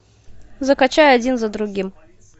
закачай один за другим